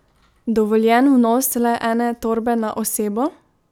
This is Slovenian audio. Dovoljen vnos le ene torbe na osebo?